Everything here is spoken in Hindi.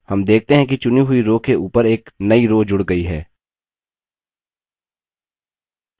हम देखते हैं कि चुनी हुई row के ऊपर एक नई row जूड़ गई है